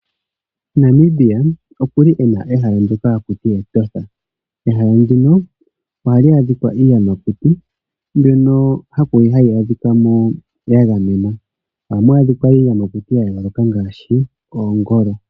Namibia okuli ena ehala ndyoka haku tiwa Etosha. Ehala ndino ohali adhikwa iiyamakuti mbyono hayi adhikwa mo yagamenwa. Ohamu adhikwa iiyamakuti yayooloka ngaashi oongolo.